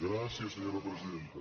gràcies senyora presidenta